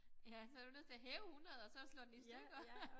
Ja så du nødt til at hæve 100 og så slå den i stykker